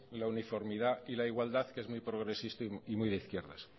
la uniformidad y la igualdad que es muy progresista y muy de izquierdas